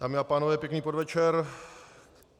Dámy a pánové, pěkný podvečer.